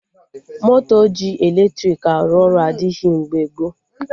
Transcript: Moto ji eletrik arụ ọrụ adịghị mgbe gboo